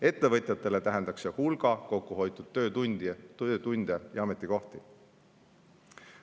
Ettevõtjatele tähendaks see hulga kokkuhoitud töötunde ja ametikohti.